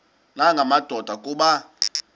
nanga madoda kuba